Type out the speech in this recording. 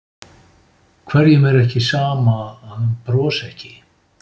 Hverjum er þá ekki sama að hann brosi ekki?